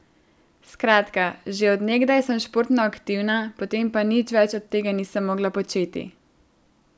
Skratka, že od nekdaj sem športno aktivna, potem pa nič več od tega nisem mogla početi.